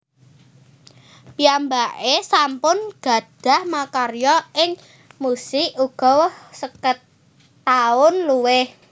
Piyambaké sampun gadhah makarya ing musik uga seket taun luwih